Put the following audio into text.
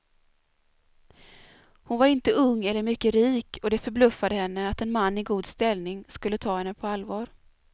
Hon var inte ung eller mycket rik, och det förbluffade henne att en man i god ställning skulle ta henne på allvar.